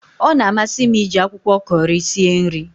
Ọ na amasi m iji akwụkwọ Kọri sie nri